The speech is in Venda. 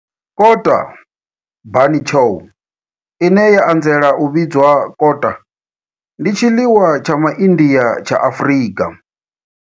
Kota, bunny chow, ine ya anzela u vhidzwa kota, ndi tshiḽiwa tsha MA India tsha Afrika.